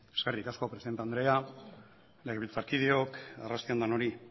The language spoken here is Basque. eskerrik asko presidente andrea legebiltzarkideok arrasti on denoi